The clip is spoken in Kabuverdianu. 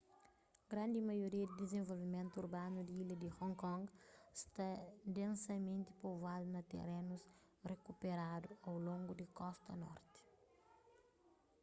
grandi maioria di dizenvolvimentu urbanu di ilha di hong kong sta densamenti povoadu na terenus rikuperadu au longu di kosta norti